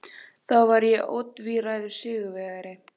Þá var ég ótvíræður sigurvegari.